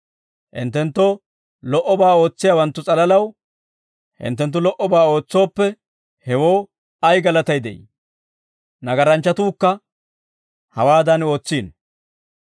Hinttenttoo lo"obaa ootsiyaawanttu s'alalaw hinttenttu lo"obaa ootsooppe hewoo ay galatay de'ii? Nagaranchchatuukka hawaadan ootsiino.